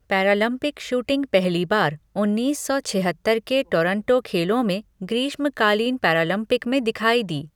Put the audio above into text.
Paralympic shooting पहली बार उन्नीस सौ छिहत्तर के टोरंटो खेलों में ग्रीष्मकालीन पैरालम्पिक में दिखाई दी।